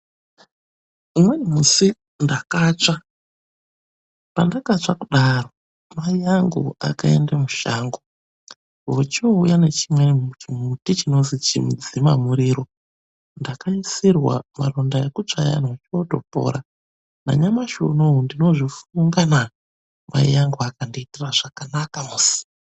Umweni musi ndakatsva, pandakatsva kudaro mai angu akaenda mushango vochouya nechimweni chimbuti chinozi chimudzima muriro, ndakaisirwa pamaronda ekutsva ayana ochotopora. Nanyamasi unowu ndinozvifungana mai angu akandiitira zvakanaka musi..